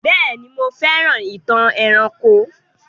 Béèni, mo fẹ́ràn ìtàn eranko